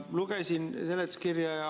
Lugesin seletuskirja.